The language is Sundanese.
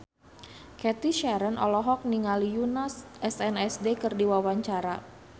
Cathy Sharon olohok ningali Yoona SNSD keur diwawancara